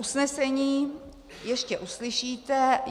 Usnesení ještě uslyšíte.